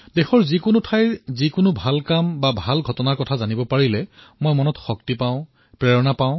দেশৰ কোনো প্ৰান্তত যদি এটা ভাল ঘটনা ঘটে তাৰ জৰিয়তে মনত মই বল পাওঁ প্ৰেৰণা পাওঁ